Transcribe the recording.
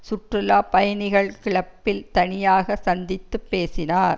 சுற்றுலா பயணிகள் கிளப்பில் தனியாக சந்தித்து பேசினார்